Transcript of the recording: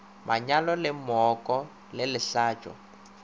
monyalo le mooko le lehlatšo